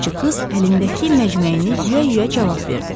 Xidmətçi qız əlindəki məcməyini yuya-yuya cavab verdi.